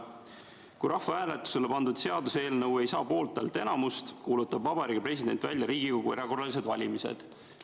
Kui rahvahääletusele pandud seaduseelnõu ei saa poolthäälte enamust, kuulutab Vabariigi President välja Riigikogu erakorralised valimised.